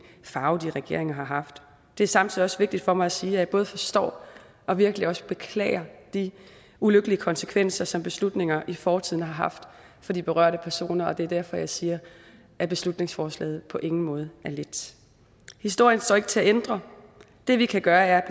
farve de regeringer har haft det er samtidig også vigtigt for mig at sige at jeg både forstår og virkelig også beklager de ulykkelige konsekvenser som beslutninger i fortiden har haft for de berørte personer og det er derfor jeg siger at beslutningsforslaget på ingen måde er let historien står ikke til at ændre det vi kan gøre er at